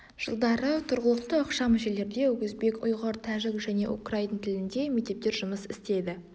жылдары тұрғылықты ықшам жерлерде өзбек ұйғыр тәжік және украин тілінде мектептер жұмыс істеді